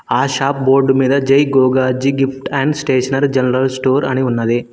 ఆ shop board మీద Jai Gogarji gift and stationery general store అని ఉన్నది.